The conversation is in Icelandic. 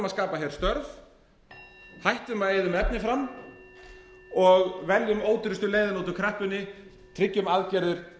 að skapa hér störf hættum að eyða um efni fram og veljum ódýrustu leiðina út úr kreppunni tryggjum aðgerðir